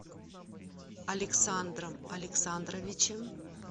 александром александровичем